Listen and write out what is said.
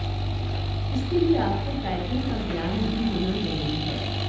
इसके लिए आपको टाइपिंग का ज्ञान भी होना जरूरी है